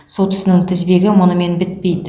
сот ісінің тізбегі мұнымен бітпейді